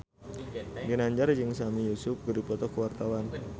Ginanjar jeung Sami Yusuf keur dipoto ku wartawan